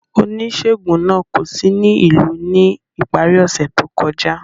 Onisegun naa ko si ni ilu ni ipari ose to kọja.